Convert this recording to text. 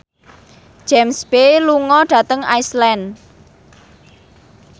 James Bay lunga dhateng Iceland